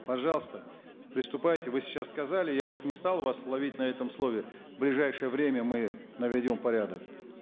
пожалуйста приступайте вы сейчас сказали я уж не стал ловить вас на этом слове в ближайшее время мы наведем порядок